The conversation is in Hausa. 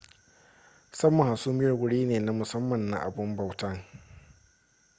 saman hasumiyar wuri ne na musamman na abun bautan